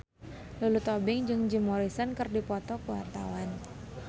Lulu Tobing jeung Jim Morrison keur dipoto ku wartawan